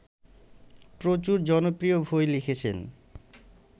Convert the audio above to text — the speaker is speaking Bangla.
প্রচুর জনপ্রিয় বই লিখেছেন